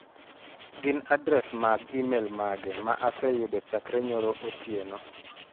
Gin adres mag imel mage ma aseyudo chakre nyoro otieno?